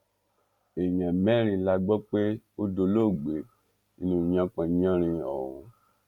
èèyàn mẹ́rin la gbọ́ pé ó dolóògbé nínú yánpọnyánrin ọ̀hún